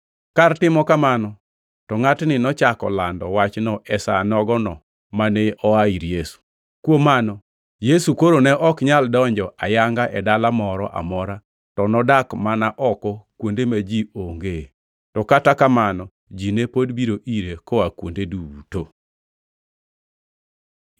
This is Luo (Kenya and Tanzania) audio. Kar timo kamano to ngʼatni nochako lando wachno e sa nogo mane oa ir Yesu. Kuom mano Yesu koro ne ok nyal donjo ayanga e dala moro amora, to nodak mana oko kuonde ma ji ongee. To kata kamano ji ne pod biro ire koa kuonde duto.